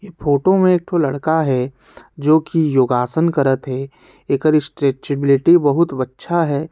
ये फोटो मे एक ठो लड़का है जो की योगासन करत है एखर स्ट्रेट्चबिलिटी बहुत अच्छा हे।